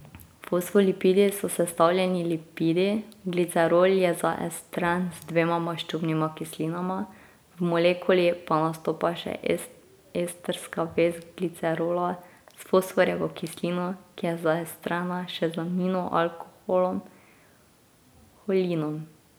Fosfolipidi so sestavljeni lipidi, glicerol je zaestren z dvema maščobnima kislinama, v molekuli pa nastopa še estrska vez glicerola s fosforjevo kislino, ki je zaestrena še z aminoalkoholom holinom.